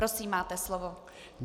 Prosím, máte slovo.